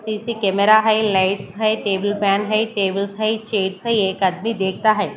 Camera है lights है table fan है टेबल्स है चेयर्स है एक आदमी देखता है।